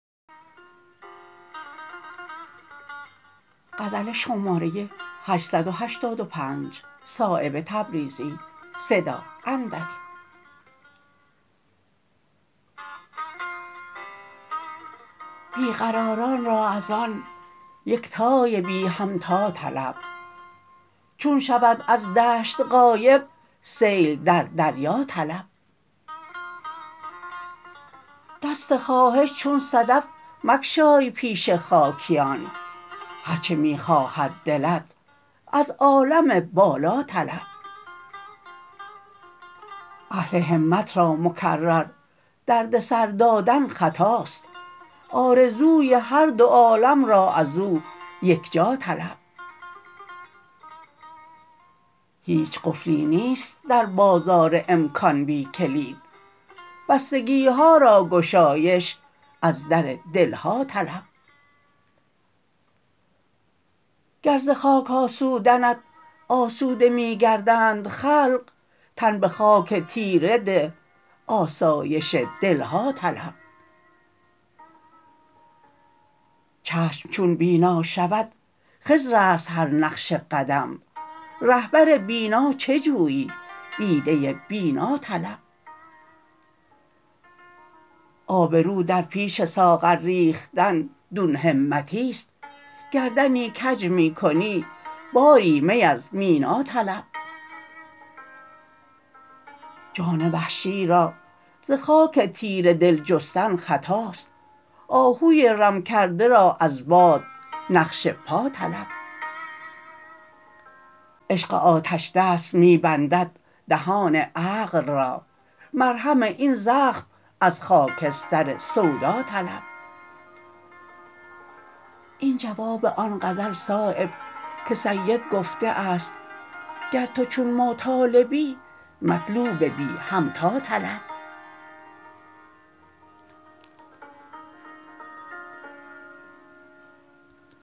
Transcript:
بی قراران را ازان یکتای بی همتا طلب چون شود از دشت غایب سیل در دریا طلب دست خواهش چون صدف مگشای پیش خاکیان هر چه می خواهد دلت از عالم بالا طلب اهل همت را مکرر دردسر دادن خطاست آرزوی هر دو عالم را ازو یکجا طلب هیچ قفلی نیست در بازار امکان بی کلید بستگی ها را گشایش از در دلها طلب گر ز خاک آسودنت آسوده می گردند خلق تن به خاک تیره ده آسایش دلها طلب چشم چون بینا شود خضرست هر نقش قدم رهبر بینا چه جویی دیده بینا طلب آبرو در پیش ساغر ریختن دون همتی است گردنی کج می کنی باری می از مینا طلب جان وحشی را ز خاک تیره دل جستن خطاست آهوی رم کرده را از باد نقش پا طلب عشق آتشدست می بندد دهان عقل را مرهم این زخم از خاکستر سودا طلب این جواب آن غزل صایب که سید گفته است گر تو چون ما طالبی مطلوب بی همتا طلب